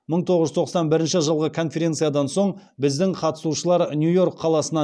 мың тоғыз жүз тоқсан бірінші жылғы конференциядан соң біздің қатысушылар нью йорк қаласынан